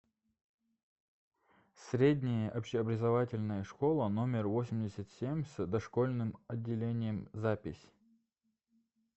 средняя общеобразовательная школа номер восемьдесят семь с дошкольным отделением запись